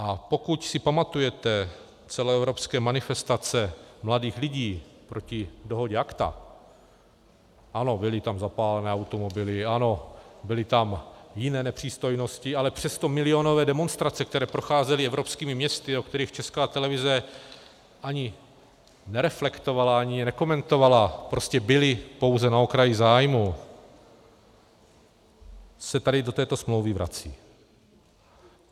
A pokud si pamatujete celoevropské manifestace mladých lidí proti dohodě ACTA, ano, byly tam zapálené automobily, ano, byly tam jiné nepřístojnosti, ale přesto milionové demonstrace, které procházely evropskými městy, o kterých Česká televize ani nereflektovala, ani je nekomentovala, prostě byly pouze na okraji zájmu, se tady do této smlouvy vrací.